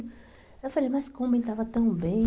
Eu falei, mas como ele estava tão bem?